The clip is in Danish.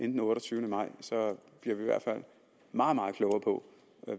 den otteogtyvende maj i hvert fald meget meget klogere på